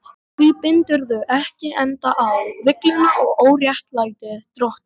Hví bindurðu ekki enda á villuna og óréttlætið, drottinn?